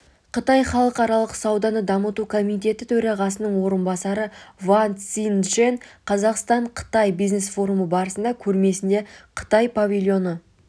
қытай халықаралық сауданы дамыту комитеті төрағасының орынбасары ван цзиньчжэнь қазақстан-қытай бизнес форумы барысында көрмесінде қытай павильоны